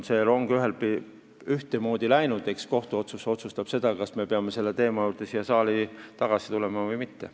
See rong on läinud, eks kohus otsustab, kas me peame selle teema juurde siin saalis tagasi tulema või mitte.